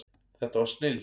Þetta var snilld.